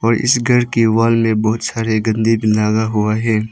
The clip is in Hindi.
इस घर की वॉल में बहुत सारे लगा हुआ है।